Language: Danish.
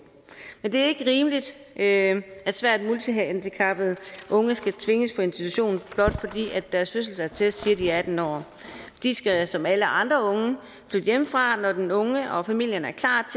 men det er ikke rimeligt at svært multihandicappede unge skal tvinges på institution blot fordi deres fødselsattest siger at de er atten år de skal som alle andre unge flytte hjemmefra når den unge og familien er klar